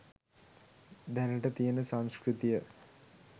දැනට තියෙන සංස්කෘතිය